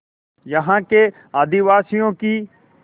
यहाँ के आदिवासियों की